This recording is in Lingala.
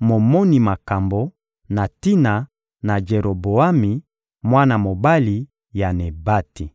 momoni makambo, na tina na Jeroboami, mwana mobali ya Nebati.